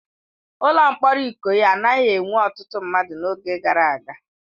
Ụlọ mkpọrọ Ikoyi anaghị enwe ọtụtụ mmadụ n'oge gara aga.